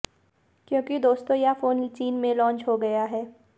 क्योंकि दोस्तों यह फोन चीन मे लॉन्च हो गया हैं